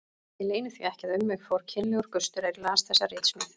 Ég leyni því ekki að um mig fór kynlegur gustur er ég las þessa ritsmíð.